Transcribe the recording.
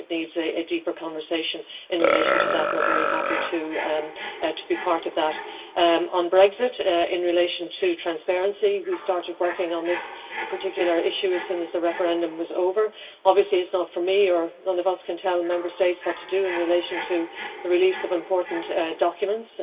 I think it needs a deeper conversation in relation to that and I am very happy to be part of that. On Brexit, in relation to transparency, we started working on this particular issue as soon as the referendum was over. Obviously it is not for me or any of us to tell Member States what to do in relation to the release of important documents